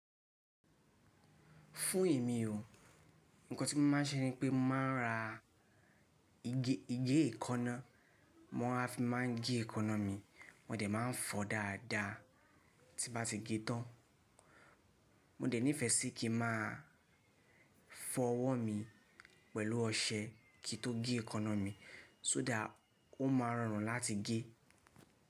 Fún èmi o, ǹkan tí mo máa ń ṣe ni pé mo máa ń ra igé ìkaná, mo a fi máa ń gé èékáná mi, mo dẹ̀ máa ń fọ dáadáa tí bá ti gé tán. Mo dẹ̀ nífẹẹ sí kí n máa fọ ọwọ́ mi pẹ̀lú ọṣẹ kí o tó gé èékáná mi, so that ó máa rọrùn láti gé.